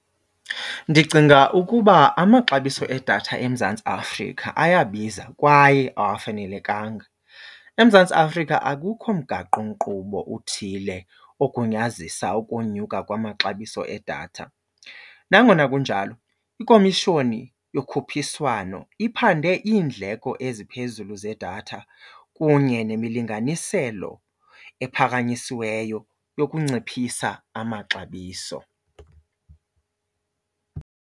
Ndicinga ukuba amaxabiso edatha eMzantsi Afrika ayabiza kwaye awafanelekanga. EMzantsi Afrika akukho mgaqonkqubo uthile ogunyazisa ukunyuka kwamaxabiso edatha. Nangona kunjalo ikomishoni yokhuphiswano iphande iindleko eziphezulu zedatha kunye nemilinganiselo ephakanyisiweyo yokunciphisa amaxabiso.